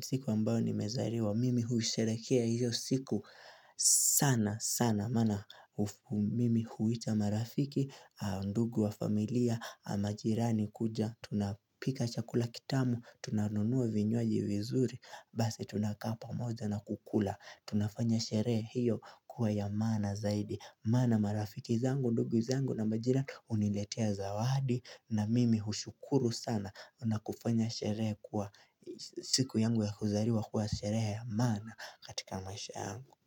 siku ambayo nimezaliwa mimi huisherehekea hiyo siku sana sana. Maana mimi huita marafiki, ndugu wa familia, majirani kuja, tunapika chakula kitamu, tunanunua vinywaji vizuri, basi tunakaa pamoja na kukula. Tunafanya sherehe hiyo kuwa ya maana zaidi Maana marafiki zangu, ndugu zangu na majirani huniletea zawadi na mimi hushukuru sana na kufanya sherehe kuwa siku yangu ya kuzaliwa kuwa sherehe ya maana katika maisha yangu.